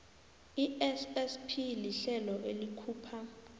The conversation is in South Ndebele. issp lihlelo elikhupha